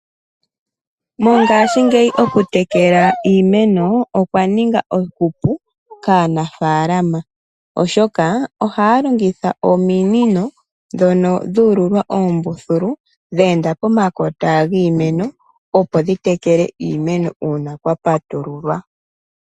Mongashingeyi okutekela iimeno okwa ninga okupu kaanafalama oshoka ohaya longitha oominino dhono dhuululwa oombuthulu dheenda pomakota giimeno opo dhitekele iimeno uuna kwapatululwa.